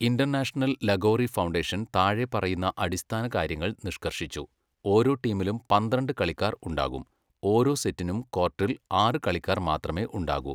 International Lagori foundation താഴെപ്പറയുന്ന അടിസ്ഥാന കാര്യങ്ങൾ നിഷ്കർഷിച്ചു. ഓരോ ടീമിലും പന്ത്രണ്ട് കളിക്കാർ ഉണ്ടാകും, ഓരോ സെറ്റിനും കോർട്ടിൽ ആറ് കളിക്കാർ മാത്രമേ ഉണ്ടാകൂ.